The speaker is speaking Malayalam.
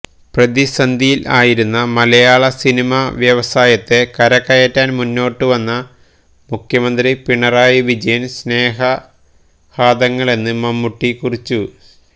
പ്രതിസന്ധിയിൽ ആയിരുന്ന മലയാള സിനിമാ വ്യവസായത്തെ കരകയറ്റാൻ മുന്നോട്ട് വന്ന മുഖ്യമന്ത്രിപിണറായി വിജയന് സ്നേഹാദങ്ങളെന്ന് മമ്മൂട്ടി കുറിച്ചു